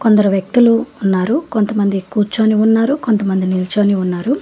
కొందరు వ్యక్తులు ఉన్నారు కొంతమంది కూర్చొని ఉన్నారు కొంతమంది నిలుచొని ఉన్నారు.